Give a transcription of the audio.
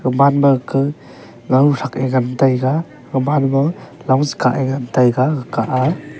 man ma ka grawthrak e ngan taiga oman ma longsekah ngan taiga alag a.